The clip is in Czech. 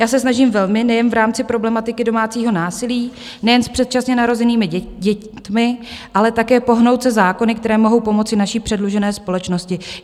Já se snažím velmi nejen v rámci problematiky domácího násilí, nejen s předčasně narozenými dětmi, ale také pohnout se zákony, které mohou pomoci naší předlužené společnosti.